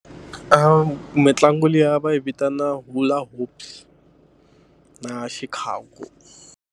Mitlangu liya va yi vitana na xikhagu.